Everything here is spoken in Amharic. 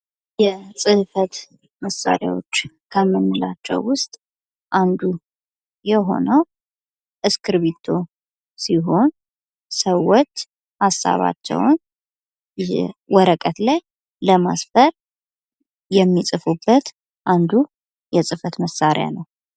የጽህፈት መሳሪያወች ከምንላቸው ውስጥ አንዱ የሆነው እስክርቢቶ ሲሆን ሰዎች ሀሳባቸውን ወረቀት ላይ ለማስፈር የሚጽፉበት አንዱ የጽፈት መሳሪያ ነው።